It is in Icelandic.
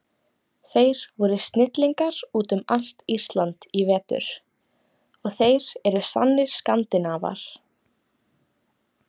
Þeir voru snillingar út um allt Ísland í vetur og þeir eru sannir Skandinavar.